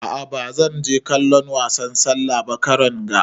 A'a ba zan je kallon wasan sallah ba karon ga.